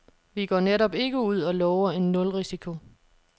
Vi går netop ikke ud og lover en nulrisiko.